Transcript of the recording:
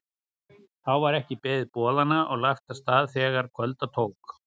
Þá var ekki beðið boðanna en lagt af stað þegar kvölda tók.